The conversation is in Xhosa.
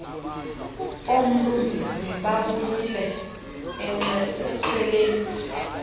oomlungisi babuyile exhweleni